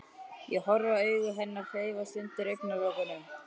Ég horfi á augu hennar hreyfast undir augnalokunum.